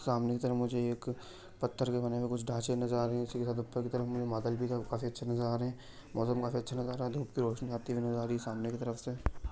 सामने की तरफ मुझे एक पत्थर के बने हुए कुछ ढांचे नज़र आ रहे हैं उसी के साथ पत्थर की तरफ मुझे बादल भी काफी अच्छे नज़र आ रहे हैं मौसम भी काफी अच्छा नज़र आ रहा है धूप की रोशनी आते हुए नजर आ रही है सामने की तरफ से।